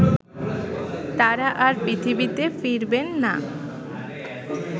তারা আর পৃথিবীতে ফিরবেন না